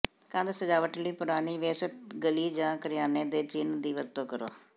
ਕੰਧ ਸਜਾਵਟ ਲਈ ਪੁਰਾਣੀ ਵਿਅਸਤ ਗਲੀ ਜਾਂ ਕਰਿਆਨੇ ਦੇ ਚਿੰਨ੍ਹ ਦੀ ਵਰਤੋਂ ਕਰੋ